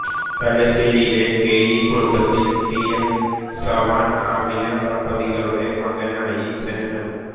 തലശേരിയിലെ കേയി കുടുംബത്തിൽ T M സവാൻആമിന ദമ്പതികളുടെ മകനായി ജനനം